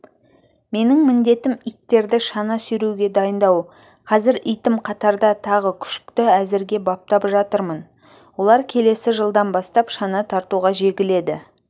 менің міндетім иттерді шана сүйреуге дайындау қазір итім қатарда тағы күшікті әзірге баптап жатырмын олар келесі жылдан бастап шана тартуға жегіледі